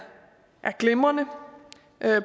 glimrende